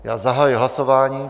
Já zahajuji hlasování.